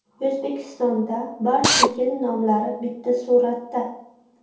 O‘zbekistonda barcha yil nomlari bitta suratda.